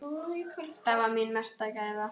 Það var mín mesta gæfa.